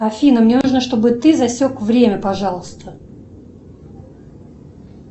афина мне нужно чтобы ты засек время пожалуйста